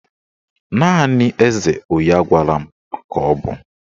Naanị eze onye agwala m ka ọ bụ